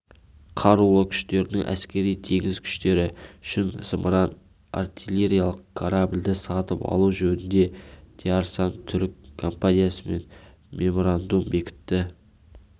қарулы күштерінің әскери-теңіз күштері үшін зымыран-артиллериялық корабльді сатып алу жөнінде диарсан түрік компаниясымен меморандум бекітілді